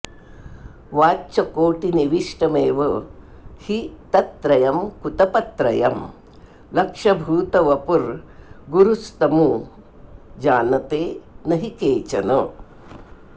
वाच्यकोटिनिविष्टमेव हि तत्त्रयं कृतपत्त्रयं लक्ष्यभूतवपुर्गुंरुस्तमु जानते न हि केचन